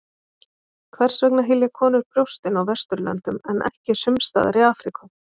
Hvers vegna hylja konur brjóstin á Vesturlöndum en ekki sums staðar í Afríku?